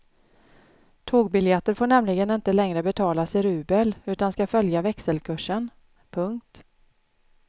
Tågbiljetter får nämligen inte längre betalas i rubel utan ska följa växelkursen. punkt